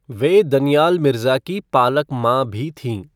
वे दनियाल मिर्ज़ा की पालक माँ भी थीं।